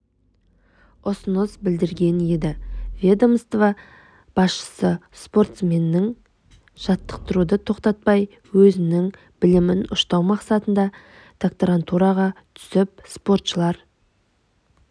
ұсыныс білдірген еді ведомства басшысы спортсменнің жатықтыруды тоқтатпай өзінің білімін ұштау мақсатында докторантураға түсіп спортшылар